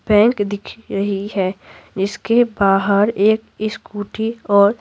bank दिख रही है जिसके बाहर एक स्कूटी और--